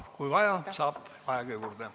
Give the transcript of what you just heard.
Kui vaja, saab aega juurde.